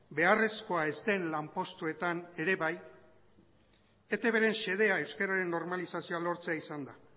beharrezkoa ez den lanpostuetan ere bai eitbren xedea euskararen normalizazioa lortzea izan da